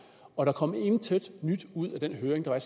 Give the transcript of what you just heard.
og der kom intet nyt ud af den høring der var